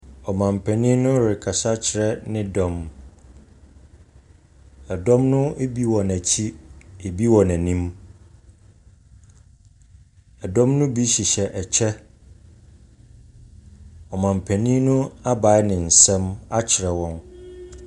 Ɔmampanin rekasa kyerɛ ne dɔm, dɔm ne bi wɔ n’akyi, bi wɔ n’anim. Dɔm ne bi hyehyɛ kyɛ, ɔmampanin no abae ne nsa akyerɛ wɔn.